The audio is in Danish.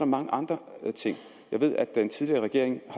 mange andre ting jeg ved at den tidligere regering